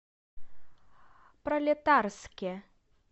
пролетарске